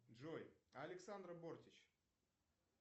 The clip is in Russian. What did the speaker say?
джой александра бортич